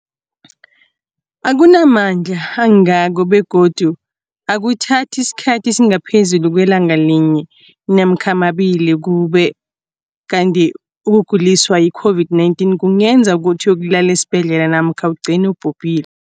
akuna mandla angako begodu akuthathi isikhathi esingaphezulu kwelanga linye namkha mabili, ukube kanti ukuguliswa yi-COVID-19 kungenza ukuthi uyokulala esibhedlela namkha ugcine ubhubhile.